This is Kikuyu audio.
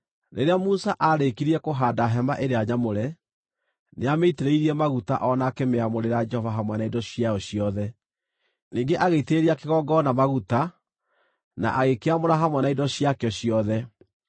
Rĩrĩa Musa aarĩkirie kũhaanda Hema-ĩrĩa-Nyamũre, nĩamĩitĩrĩirie maguta o na akĩmĩamũrĩra Jehova hamwe na indo ciayo ciothe. Ningĩ agĩitĩrĩria kĩgongona maguta, na agĩkĩamũra hamwe na indo ciakĩo ciothe.